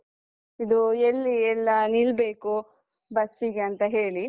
ಇದು ಎಲ್ಲಿ ಎಲ್ಲ ನಿಲ್ಬೇಕು bus ಗೆ ಅಂತ ಹೇಳಿ.